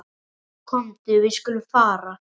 Komdu, við skulum fara.